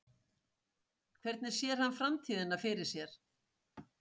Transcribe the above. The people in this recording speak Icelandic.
Hvernig sér hann framtíðina fyrir sér?